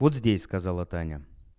вот здесь сказала таня